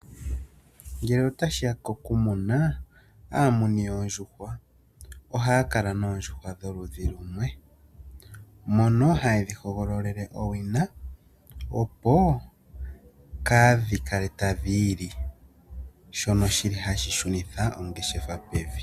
Ngele otashi ya kokumuna aamuni yoondjuhwa ohaya kala noondjuhwa dholudhi lumwe. Mono haye dhi hogololele owina opo kaadhi kale tadhi ili shono shili hashi shunitha ongeshefa pevi.